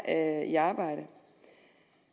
er i arbejde